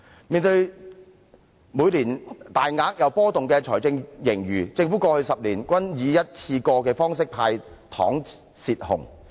面對每年既大額又波動的財政盈餘，政府過去10年均以一次過的方式"派糖"泄洪。